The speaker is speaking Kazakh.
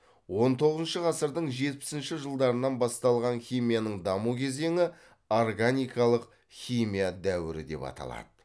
он тоғызыншы ғасырдың жетпісінші жылдарынан басталған химияның даму кезеңі органикалық химия дәуірі деп аталады